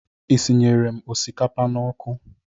Isinyere m osikapa n'ọkụ?